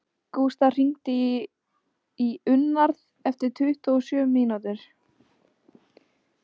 Gústaf, hringdu í Íunnarð eftir tuttugu og sjö mínútur.